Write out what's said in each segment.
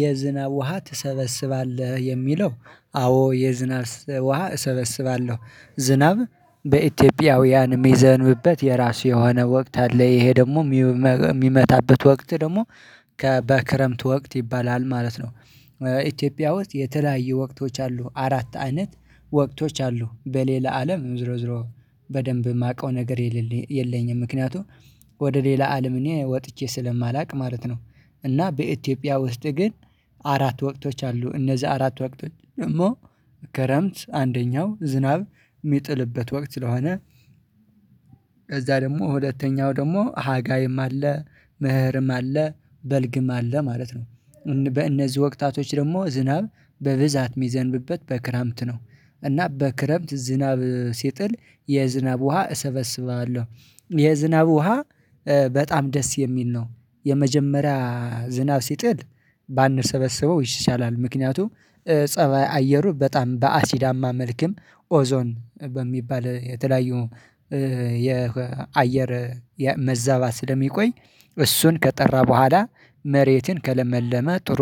የዝናብ ውሃ ትሰበስባለህ የሚለው አዎ የዝናብ ውሃ እሰበስባለሁ ዝናብ በኢትዮጵያውያን የሚዘንብበት የራሱ የሆነ ወቅት አለ። ይሄ ደግሞ የሚመታበት ወቅት ደግሞ ከበክረምት ወቅት ይባላል ማለት ነው። ኢትዮጵያ ውስጥ የተለያየ ወቅቶች አሉ አራት አይነት ወቅቶች አሉ በሌላ አለም ዝሮ ዝሮ በደንብ የማውቀው ነገር የለኝም። ምክንያቱም ወደ ሌላ አለም እኔ ወጥቼ ስለማላውቅ ማለት ነው። እና በኢትዮጵያ ውስጥ ግን አራት ወቅቶች አሉ እነዚህ አራት ወቅቶች ደግሞ ከረምት አንደኛው ዝናብ የሚጥልበት ወቅት ስለሆነ። ከዛ ደግሞ ሁለተኛው ደግሞ ሃጋይም አለ መህርም አለ በልግም አለ ማለት ነው። በእነዚህ ወቅታቶች ደግሞ ዝናብ በብዛት የሚዘንብበት በክረምት ነው። እና በክረምት ዝናብ ሲጥል የዝናብ ውሃ እሰበስባለሁ። የዝናብ ውሃ በጣም ደስ የሚል ነው። የመጀመሪያ ዝናብ ሲጥል ባንሰበሰበው ይሻላል። ምክንያቱም ፀባይ አየሩ በጣም በአሲዳማ መልክም ኦዞን በሚባል የተለያዩ የአየር መዛባት ስለሚቆይ። እሱን ከጠራ በኋላ መሬትን ከለመለመ ጥሩ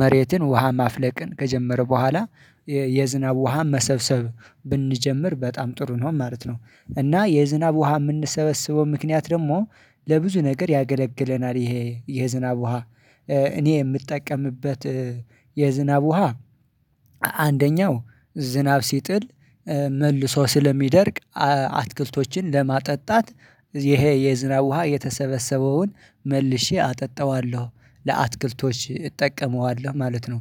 መሬትን ውሃ ማፍለቅን ከጀመረ በኋላ። የዝናብ ውሃ መሰብሰብ ብንጀምር በጣም ጥሩ ነው ማለት ነው። እና የዝናብ ውሃ የምንሰበስበው ምክንያት ደግሞ ለብዙ ነገር ያገለግለናል። ይሄ የዝናብ ውሃ እኔ የምጠቀምበት። የዝናብ ውሃ። አንደኛው ዝናብ ሲጥል መልሶ ስለሚደርቅ ስለሚደርግ አትክልቶችን ለማጠጣት ይሄ የዝናብ ውሃ የተሰበሰበውን መልሼ አጠጣዋለሁ ለአትክልቶች እጠቀመዋለሁ ማለት ነው።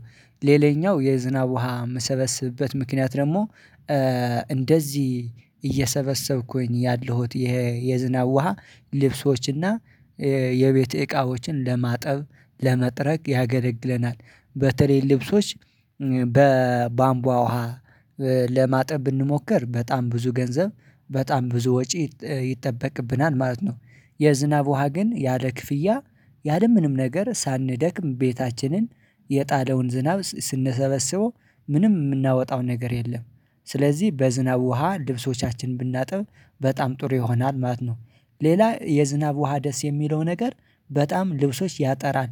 ሌላኛው የዝናብ ውሃ የምሰበስብበት ምክንያት ደግሞ እንደዚህ እየሰበሰብኩኝ ያለሁት የዝናብ ውሃ ልብሶችና የቤት እቃዎችን ለማጠብ ለመጥረግ ያገለግለናል። በተለይ ልብሶች በቧምቧ ውሃ ለማጠብ ብንሞክር በጣም ብዙ ገንዘብ በጣም ብዙ ወጪ ይጠበቅብናል ማለት ነው። የዝናብ ውሃ ግን ያለ ክፍያ ያለ ያለምንም ነገር ሳንደክም ቤታችንን የጣለውን ዝናብ ስንሰበስበው ምንም የምናወጣው ነገር የለም። ስለዚህ በዝናብ ውሃ ልብሶቻችንን ብናጠብ በጣም ጥሩ ይሆናል ማለት ነው። ሌላ የዝናብ ውሃ ደስ የሚለው ነገር በጣም ልብሶች ያጠራል።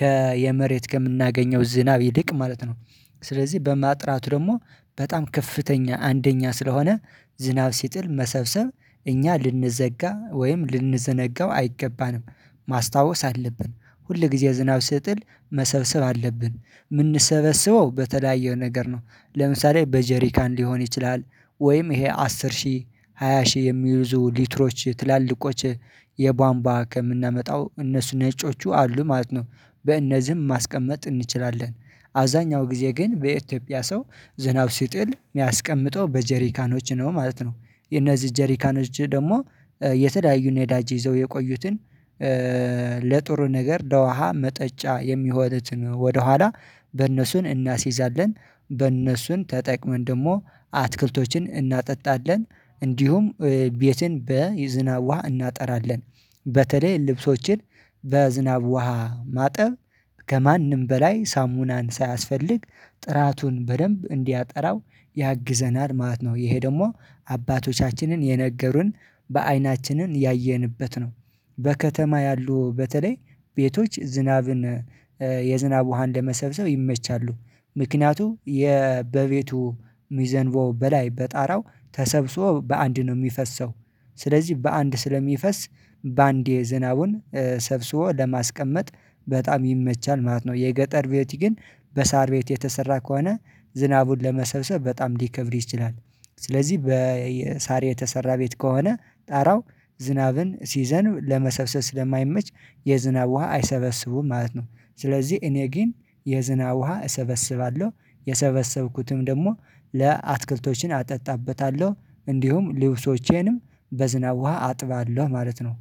ከየመሬት ከምናገኘው ዝናብ ይልቅ ማለት ነው። ስለዚህ በማጥራቱ ደግሞ በጣም ከፍተኛ አንደኛ ስለሆነ ዝናብ ሲጥል መሰብሰብ እኛ ልንዘጋ ወይም ልንዘነጋው አይገባንም። ማስታወስ አለብን ሁል ጊዜ ዝናብ ስጥል መሰብሰብ አለብን የምንሰበስበው በተለያየ ነገር ነው። ለምሳሌ በጀሪካን ሊሆን ይችላል። ወይም ይሄ አስር ሺህ ሃያ ሺህ የሚይዙ ሊትሮች ትላልቆች የቧንቧ ከምናመጣው እነሱ ነጮቹ አሉ ማለት ነው። በእነዚህም ማስቀመጥ እንችላለን። አብዛኛው ጊዜ ግን በኢትዮጵያ ሰው ዝናብ ሲጥል የሚያስቀምጠው በጀሪካኖች ነው ማለት ነው። እነዚህ ጀሪካኖች ደግሞ የተለያዩ ነዳጅ ይዘው የቆዩትን ለጥሩ ነገር ለውሃ መጠጫ የሚሆነትን ወደኋላ በእነሱን እናስይዛለን። በእነሱን ተጠቅመን ደግሞ አትክልቶችን እናጠጣለን። እንዲሁም ቤትን በዝናብ ውሃ እናጠራለን። በተለይ ልብሶችን በዝናብ ውሃ ማጠብ ከማንም በላይ ሳሙናን ሳያስፈልግ ጥራቱን በደንብ እንዲያጠራው ያግዘናል ማለት ነው። ይሄ ደግሞ አባቶቻችንን የነገሩን በአይናችንን ያየንበት ነው። በከተማ ያሉ በተለይ ቤቶች ዝናብን የዝናብ ውሃ እንደመሰብሰብ ይመቻሉ። ምክንያቱም የበቤቱ ሚዘንበው በላይ በጣራው ተሰብስቦ በአንድ ነው የሚፈሰው። ስለዚህ በአንድ ስለሚፈስ በአንዴ ዝናቡን ሰብስቦ ለማስቀመጥ በጣም ይመቻል ማለት ነው። የገጠር ቤት ግን በሳር ቤት የተሰራ ከሆነ ዝናቡን ለመሰብሰብ በጣም ሊከብድ ይችላል። ስለዚህ በሳር የተሰራ ቤት ከሆነ ጣራው ዝናብን ሲዘንብ ለመሰብሰብ ስለማይመች የዝናብ ውሃ አይሰበስቡም ማለት ነው። ስለዚህ እኔ ግን የዝናብ ውሃ እሰበስባለሁ። የሰበሰብኩትም ደግሞ ለአትክልቶችን አጠጣበታለሁ እንዲሁም ልብሶቼንም በዝናብ ውሃ አጥባለሁ ማለት ነው።